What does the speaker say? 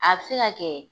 A bɛ se ka kɛ